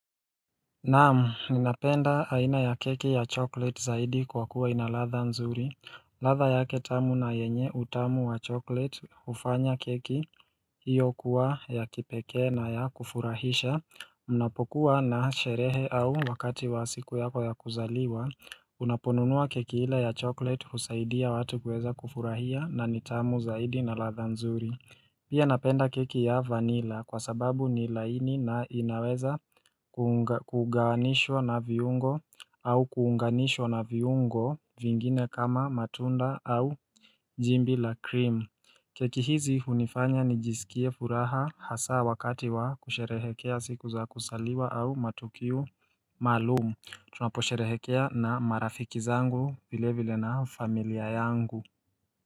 Naamu, ninapenda haina ya keki ya chokolate zaidi kwa kuwa inalatha nzuri. Latha yake tamu na yenye utamu wa choklete ufanya keki. Hiyo kuwa ya kipeke na ya kufurahisha. Unapokuwa na sherehe au wakati wa siku yako ya kuzaliwa. Unaponunua keki hilo ya choklete husaidia watu kweza kufurahia na nitamu zaidi na latha nzuri. Pia napenda keki ya vanila kwa sababu ni laini na inaweza kuganishwa na viungo au kuunganishwa na viungo vingine kama matunda au jimbi la cream. Keki hizi hunifanya ni jisikie furaha hasa wakati wa kusherehekea siku za kusaliwa au matukiu maalumu. Tunapo sherehekea na marafiki zangu vile vile na familia yangu.